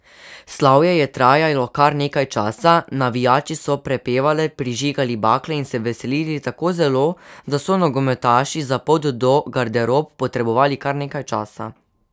Slavje je trajalo kar nekaj časa, navijači so prepevali, prižigali bakle in se veselili tako zelo, da so nogometaši za pot do garderob potrebovali kar nekaj časa.